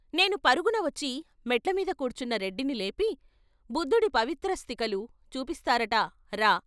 నేను పరుగున వచ్చి మెట్ల మీద కూర్చున్న రెడ్డిని లేపి, బుద్ధుడి పవిత్రాస్తికలు చూపిస్తారట రా!